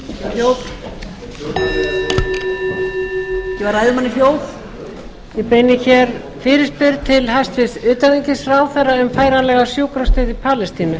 hljóð gefa ræðumanni hljóð ég beini hér fyrirspurn til hæstvirts utanríkisráðherra um færanlega sjúkrastöð í palestínu